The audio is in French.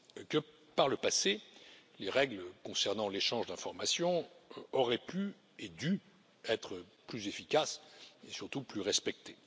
Que par le passé, les règles concernant l'échange d'informations auraient pu et dû être plus efficaces, mais surtout plus respectées.